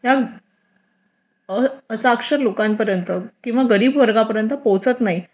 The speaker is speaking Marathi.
त्या साक्षर लोकांपर्यंत किंवा गरीब वर्गापर्यंत पोहोचत नाही